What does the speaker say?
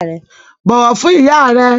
Bọ̀wọ̀ fún ìyá rẹ!